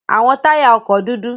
Awọn taya ọkọ dudu